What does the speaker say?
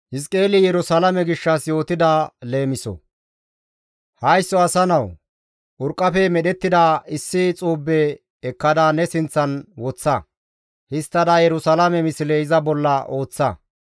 «Haysso asa nawu! Urqqafe medhettida issi xuube ekkada ne sinththan woththa; histtada Yerusalaame misle iza bolla ooththa.